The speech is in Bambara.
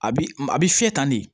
A bi a bi fiyɛ tan de